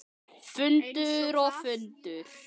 Fundur og fundur.